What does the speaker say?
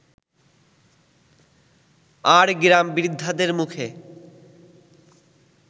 আর গ্রাম-বৃদ্ধাদের মুখে